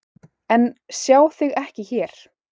En sjá þig ekki hér.